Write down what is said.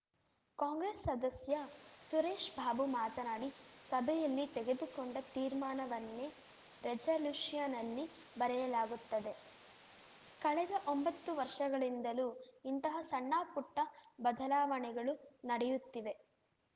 ಕಾಂಗ್ರೆಸ್‌ ಸದಸ್ಯ ಸುರೇಶ್ ಬಾಬು ಮಾತನಾಡಿ ಸಭೆಯಲ್ಲಿ ತೆಗೆದುಕೊಂಡ ತೀರ್ಮಾನವನ್ನೇ ರೆಜಲ್ಯೂಷನ್ನಲ್ಲಿ ಬರೆಯಲಾಗುತ್ತಿದೆ ಕಳೆದ ಒಂಬತ್ತು ವರ್ಷಗಳಿಂದಲೂ ಇಂತಹ ಸಣ್ಣಪುಟ್ಟಬದಲಾವಣೆಗಳು ನಡೆಯುತ್ತಿವೆ